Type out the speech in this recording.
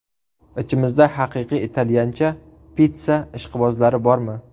Ichimizda haqiqiy italyancha pitssa ishqibozlari bormi?